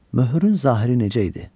Möhrün zahiri necə idi?